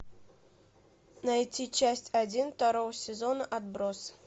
найти часть один второго сезона отбросы